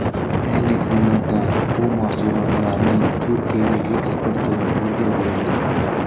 Ayni kunlarda bu mahsulotlarning Turkiyaga eksporti yo‘lga qo‘yildi.